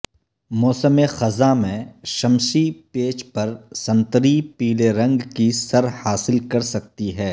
موسم خزاں میں شمسی پیچ پر سنتری پیلے رنگ کی سر حاصل کر سکتی ہے